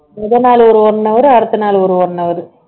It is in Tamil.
முதல் நாள் ஒரு one hour அடுத்த நாள் ஒரு one hour